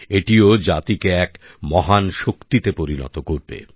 এটিও জাতিকে এক মহান শক্তিতে পরিণত করবে